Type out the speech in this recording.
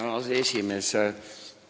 Hea aseesimees!